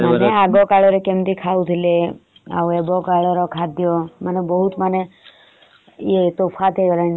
ମାନେ ଆଗ କାଳରେ କେମତି ଖାଉଥିଲେ ଆଉ ଏବେ କାଳର ଖାଦ୍ୟ। ମାନେ ବହୁତ ମାନେ ତୋଫାତ ହେଇଗଲାଣି ତ ସେଇ ଯୋଗୁରୁ ମୁ କହୁଥିଲି।